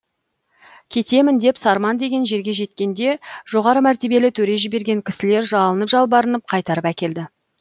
кетемін деп сарман деген жерге жеткенде жоғары мәртебелі төре жіберген кісілер жалынып жалбарынып қайтарып әкелді